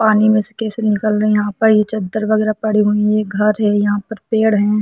पानी में से कैसे निकल रही है यहाँ पर चद्दर - वगेरा पड़ी हुई है एक घर है यहाँ पर एक पेड़ है।